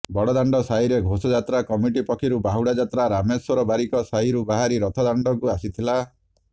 ବଡ଼ଦାଣ୍ଡ ସାହିରେ ଘୋଷଯାତ୍ରା କମିଟି ପକ୍ଷରୁ ବାହୁଡ଼ା ଯାତ୍ରା ରାମେଶ୍ୱର ବାରିକ ସାହିରୁ ବାହାରି ରଥଦାଣ୍ଡକୁ ଆସିଥିଲା